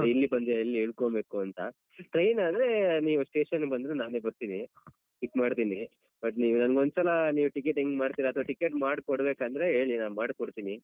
ಇಲ್ಲಿ ಬಂದು ಎಲ್ಲಿ ಇಳ್ಕೊಳ್ಬೇಕು ಅಂತ train ಆದ್ರೆ ನೀವ್ station ಗೆ ಬಂದ್ರೆ ನಾನೇ ಬರ್ತೀನಿ pick ಮಾಡ್ತೀನಿ. but ನೀವ್ ನನಿಗ್ ಒಂದ್ಸಲ ನೀವ್ ticket ಹೆಂಗ್ ಮಾಡ್ತೀರ ಅಥವಾ ticket ಮಾಡಿಕೊಡ್ಬೇಕಂದ್ರೆ ಹೇಳಿ ನಾನ್ ಮಾಡ್ಕೊಡ್ತೀನಿ.